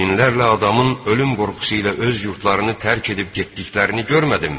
Minlərlə adamın ölüm qorxusu ilə öz yurtlarını tərk edib getdiklərini görmədimmi?